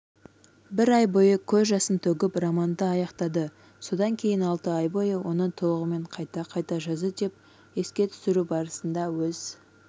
бір ай бойы көз жасын төгіп романды аяқтады содан кейін алты ай бойы оны толығымен қайта жазды деп еске түсіру барысында өз